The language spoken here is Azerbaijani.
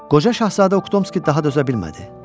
Qoca şahzadə Uktomski daha dözə bilmədi.